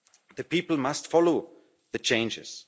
The people must follow the changes.